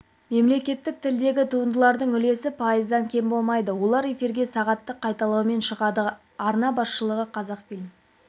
мемлекеттік тілдегі туындылардың үлесі пайыздан кем болмайды олар эфирге сағаттық қайталаумен шығады арна басшылығы қазақфильм